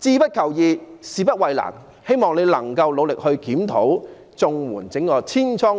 志不求易，事不避難"，我希望局長聽到，也希望局長努力檢討綜援這個千瘡百孔的制度。